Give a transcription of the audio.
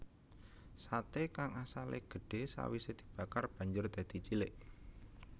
Sate kang asale gedhe sawise dibakar banjur dadi cilik